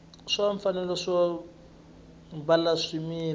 xa mfanelo yo byala swimila